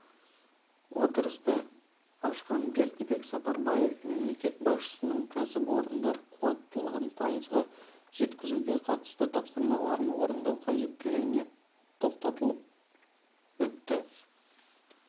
отырысты ашқан бердібек сапарбаев мемлекет басшысының кәсіпорындар қуаттылығын пайызға жеткізуге қатысты тапсырмаларын орындау қажеттілігіне тоқталып өтті